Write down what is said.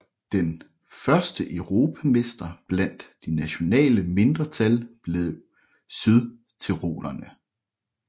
Den første europamester blandt de nationale mindretal blev sydtyrolerne